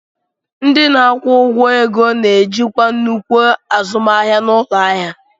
Ndị na-akwụ ụgwọ ego na-ejikwa nnukwu azụmahịa n'ụlọ ahịa.